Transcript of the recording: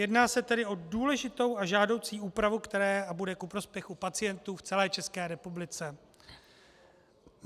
Jedná se tedy o důležitou a žádoucí úpravu, která bude ku prospěchu pacientů v celé České republice.